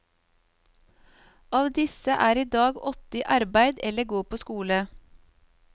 Av disse er i dag åtte i arbeid eller går på skole.